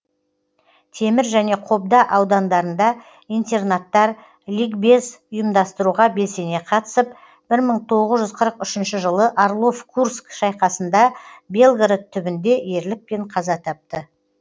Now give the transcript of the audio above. темір және қобда аудандарында интернаттар ликбез ұйымдастыруға белсене қатысып бір мың тоғыз жүз қырық үшінші жылы орлов курск шайқасында белгород түбінде ерлікпен каза тапты